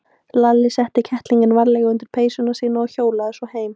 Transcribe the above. Lalli setti kettlinginn varlega undir peysuna sína og hjólaði svo heim.